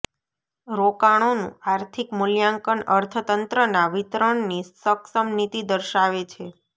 રોકાણોનું આર્થિક મૂલ્યાંકન અર્થતંત્રના વિતરણની સક્ષમ નીતિ દર્શાવે છે